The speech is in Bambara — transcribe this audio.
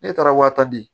Ne taara wa tadi